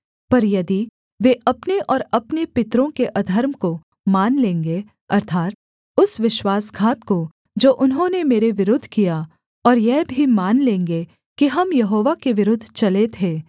पर यदि वे अपने और अपने पितरों के अधर्म को मान लेंगे अर्थात् उस विश्वासघात को जो उन्होंने मेरे विरुद्ध किया और यह भी मान लेंगे कि हम यहोवा के विरुद्ध चले थे